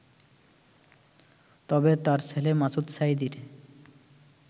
তবে তাঁর ছেলে মাসুদ সাঈদীর